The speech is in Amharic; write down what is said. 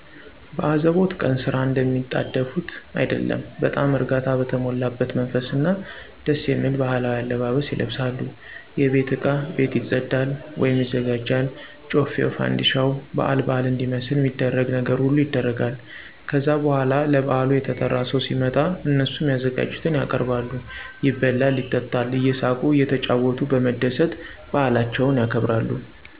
በአዘቦት ቀን ስራ እንደሚጣደፉት አይደለም በጣም እርጋታ በተሞላበት መንፈስ እና ደስየሚል ባህላዊ አለባበስ ይለብሳሉ የቤት እቃ ቤት ይፀዳል/ይዘጋጃል ጮፌው ፋንድሻው ባአል ባአል እንዲመስል ሚደረግ ነገር ሁሉ ይደረጋል። ከዛ በኋላ ለብአሉ የተጠራው ሰው ሲመጣ እነሱም ያዘጋጁትን ያቀርባሉ ይበላል ይጠጣል እየሳቁ እየተጫወቱ በመደሰት ባአላቸውን ያከብራሉ።